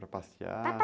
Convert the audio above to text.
Para passear? ara